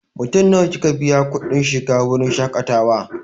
Mutum nawa kika biya wa kuɗin shiga wurin shaƙatawa?